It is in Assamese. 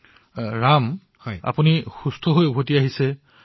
ঠিক আছে ৰাম আপুনি সুস্থ হৈ আহিছে